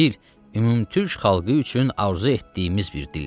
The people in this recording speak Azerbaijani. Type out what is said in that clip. Bu dil ümumtürk xalqı üçün arzu etdiyimiz bir dildir.